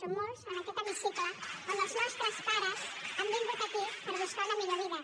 som molts en aquest hemicicle que els nostres pares han vingut aquí per buscar una millor vida